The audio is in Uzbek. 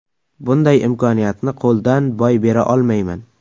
Bunday imkoniyatni qo‘ldan boy bera olmayman.